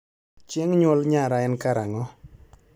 chieng nyuolnyara en karango